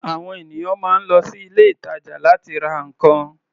À̀wọn ènìyàn máa ń lọ sí ilé-ìtàjà láti ra nǹkan.